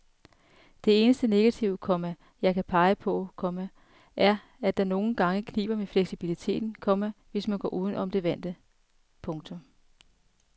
Det eneste negative, komma jeg kan pege på, komma er at det nogle gange kniber med fleksibiliteten, komma hvis man går uden for det vante. punktum